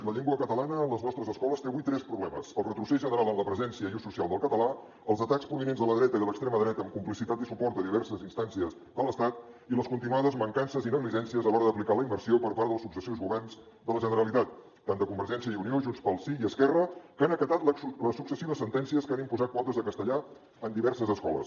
la llengua catalana a les nostres escoles té avui tres problemes el retrocés general en la presència i l’ús social del català els atacs provinents de la dreta i de l’extrema dreta amb complicitat i suport de diverses instàncies de l’estat i les continuades mancances i negligències a l’hora d’aplicar la immersió per part dels successius governs de la generalitat tant de convergència i unió i de junts pel sí com d’esquerra que han acatat les successives sentències que han imposat quotes de castellà en diverses escoles